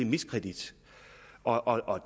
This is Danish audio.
miskredit og og